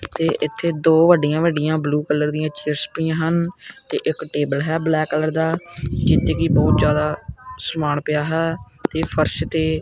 ਤੇ ਇੱਥੇ ਦੋ ਵੱਡੀਆਂ ਵੱਡੀਆਂ ਬਲੂ ਕਲਰ ਦਿਆਂ ਚੇਅਰਸ ਪਈਆਂ ਹਨ ਤੇ ਇੱਕ ਟੇਬਲ ਹੈ ਬਲੈਕ ਕਲਰ ਦਾ ਜਿੱਥੇ ਕਿ ਬਹੁਤ ਜਿਆਦਾ ਸਮਾਨ ਪਿਆ ਹੈ ਤੇ ਫ਼ਰਸ਼ ਤੇ--